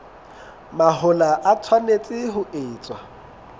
mahola e tshwanetse ho etswa